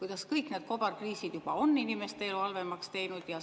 kuidas kõik need kobarkriisid juba on inimeste elu halvemaks teinud.